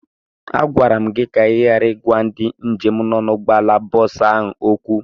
Agwara m gị ka ị ghara ịgwa ndị njem nọ na ụgbọala bọọsụ ahụ okwu!